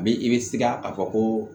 A bɛ i bɛ siga a fɔ ko